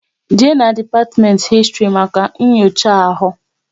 Jee na depatiment Histri maka nyocha ahụ!